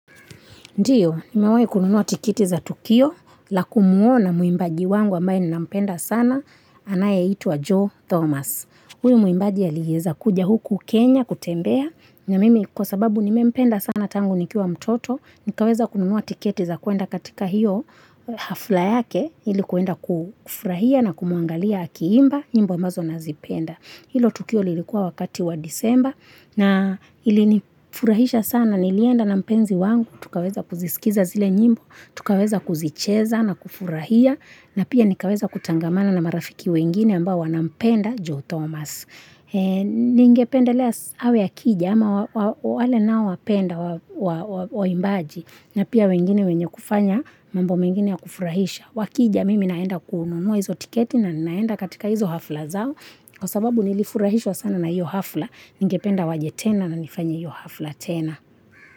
Ndiyo, nimewai kununua tikiti za Tukio, la kumuona mwimbaji wangu ambaye ninampenda sana, anayeitwa Joe Thomas. Huyo muimbaji aliweza kuja huku Kenya, kutembea, na mimi kwa sababu nimempenda sana tangu nikiwa mtoto, nikaweza kununua tikiti za kuenda katika hiyo hafla yake, ilikuenda kufurahia na kumuangalia akiimba, nyimbo ambazo nazipenda. Hilo tukio lilikua wakati wa disemba na ilinifurahisha sana, nilienda na mpenzi wangu, tukaweza kuzisikiza zile nyimbo, tukaweza kuzicheza na kufurahia, na pia nikaweza kutangamana na marafiki wengine ambao wanampenda Joe Thomas. Ningependelea awe akija ama wale nao wapenda waimbaji na pia wengine wenye kufanya mambo mengine ya kufurahisha Wakija mimi naenda kununua hizo tiketi na naenda katika hizo hafla zao Kwa sababu nilifurahishwa sana na hiyo hafla Ningependa waje tena na nifanye hiyo hafla tena.